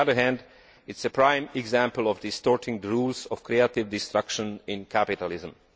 on the other hand, it is a prime example of distorting the rules of creative destruction in capitalism.